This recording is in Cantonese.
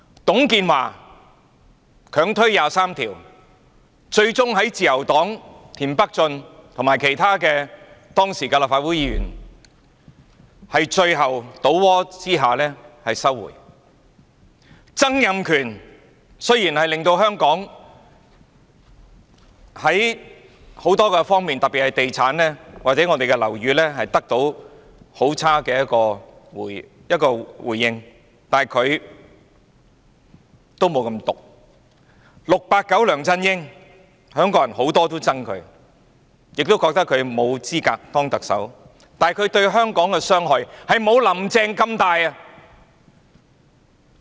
董建華強推《基本法》第二十三條立法，最終在自由黨田北俊和其他時任立法會議員最後倒戈之下收回；曾蔭權雖然令香港在多方面，特別是在地產或樓宇方面得到很差的結果，但他也沒有這麼毒 ；"689" 梁振英是很多香港人也憎恨的，亦認為他沒有資格當特首，但他對香港的傷害也不及"林鄭"那麼大。